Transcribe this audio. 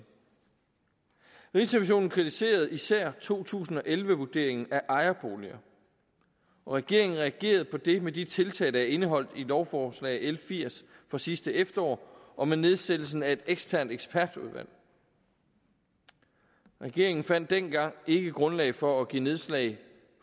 rigsrevisionen kritiserede især to tusind og elleve vurderingen af ejerboliger og regeringen reagerede på det med de tiltag der er indeholdt i lovforslag nummer l firs fra sidste efterår og med nedsættelsen af et eksternt ekspertudvalg regeringen fandt dengang ikke grundlag for at give nedslag